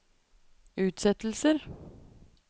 utsettelser